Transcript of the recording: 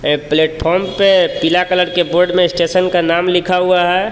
एक प्लेटफोम पे पीला कलर के बोर्ड में स्टेशन का नाम लिखा हुआ है.